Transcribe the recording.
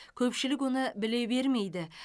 көпшілік оны біле бермейді